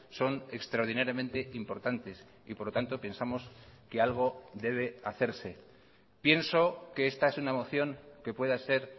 son extraordinariamente importantes y por lo tanto pensamos que algo debe hacerse pienso que esta es una moción que pueda ser